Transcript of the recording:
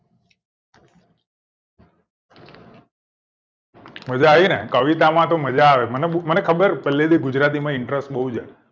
મજા આયી ને કવિતા માં તો મજા આવે મને બઉ મને ખબર પેલ્લે થી ગુજરાતી માં interest બઉ છે